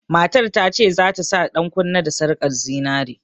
Matar ta ce za ta sa ɗankunne da sarƙar zinare.